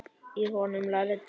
Í honum lærði Drengur landið.